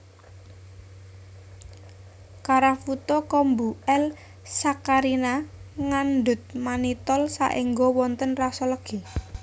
Karafuto kombu L saccharina ngandhut manitol saéngga wonten raso legi